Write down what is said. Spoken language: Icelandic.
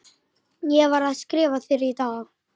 Ég var að skrifa þér í dag.